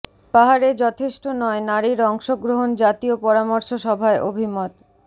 পাহাড়ে যথেষ্ট নয় নারীর অংশগ্রহণ জাতীয় পরামর্শ সভায় অভিমত